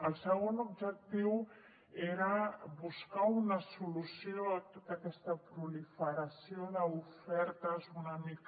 el segon objectiu era buscar una solució a tota aquesta proliferació d’ofertes una mica